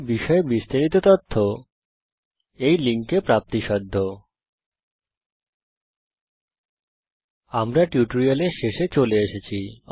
এই বিষয়ে বিস্তারিত তথ্য এই লিঙ্কে প্রাপ্তিসাধ্য httpspoken tutorialorgNMEICT Intro আমরা এই টিউটোরিয়ালের শেষে চলে এসেছি